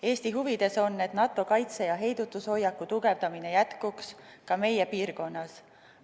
Eesti huvides on, et NATO kaitse- ja heidutushoiaku tugevdamine jätkuks, ka meie piirkonnas.